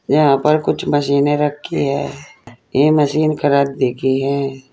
यहां पर कुछ मशीनें रखी है ये मशीन की है।